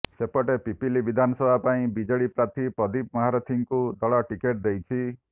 ସେପଟେ ପିପିଲି ବିଧାନସଭା ପାଇଁ ବିଜେଡି ପ୍ରାର୍ଥୀ ପ୍ରଦୀପ ମହାରଥୀଙ୍କୁ ଦଳ ଟିକେଟ ଦେଇଛି